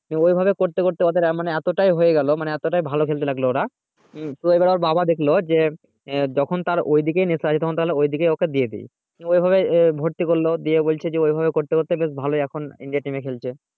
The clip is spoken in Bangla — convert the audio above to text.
ওই ভাবে করতে করতে ওদের মানে এতটাই হয়ে গেলো মানে এতটাই ভালো খেলতে লাগলো ওরা হুম তো ওর বাবা দেখলো যে যখন তার ওই দিকেই নেশা তখন তাহলে ওই দিকেই তাকে দিয়ে দেয় নিয়ে ঐভাবে ভর্তি করলো দিয়ে বলছে ওই ভাবেই করতে করতে বেশ ভালোই এখন india এর team এ খেলছে